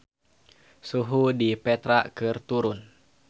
Suhu di Petra keur turun